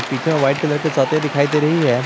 पीछे white colour के दिखाई दे रही है।